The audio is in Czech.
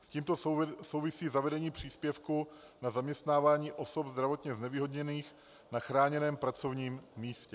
S tímto souvisí zavedení příspěvku na zaměstnávání osob zdravotně znevýhodněných na chráněném pracovním místě.